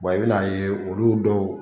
Wa i bɛna ye olu dɔw